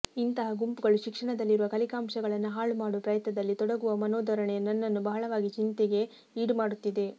ಇಂತಹ ಗುಂಪುಗಳು ಶಿಕ್ಷಣದಲ್ಲಿರುವ ಕಲಿಕಾಂಶಗಳನ್ನು ಹಾಳು ಮಾಡುವ ಪ್ರಯತ್ನದಲ್ಲಿ ತೊಡಗುವ ಮನೋಧೋರಣೆ ನನ್ನನ್ನು ಬಹಳವಾಗಿ ಚಿಂತೆಗೆ ಈಡು ಮಾಡುತ್ತಿದೆ